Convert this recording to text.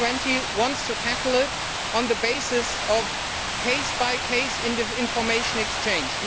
The G20 wants to tackle it on the basis of case by case information exchange.